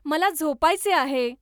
मला झोपायचे आहे